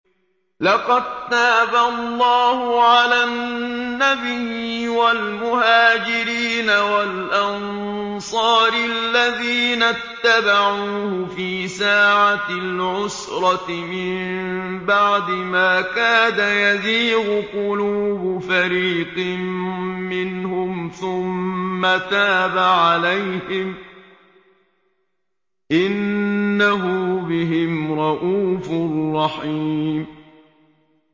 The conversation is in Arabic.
لَّقَد تَّابَ اللَّهُ عَلَى النَّبِيِّ وَالْمُهَاجِرِينَ وَالْأَنصَارِ الَّذِينَ اتَّبَعُوهُ فِي سَاعَةِ الْعُسْرَةِ مِن بَعْدِ مَا كَادَ يَزِيغُ قُلُوبُ فَرِيقٍ مِّنْهُمْ ثُمَّ تَابَ عَلَيْهِمْ ۚ إِنَّهُ بِهِمْ رَءُوفٌ رَّحِيمٌ